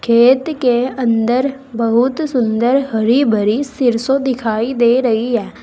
खेत के अंदर बहुत सुंदर हरी भरी सिरसों दिखाई दे रही है।